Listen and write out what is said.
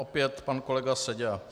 Opět pan kolega Seďa.